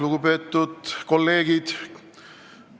Lugupeetud kolleegid!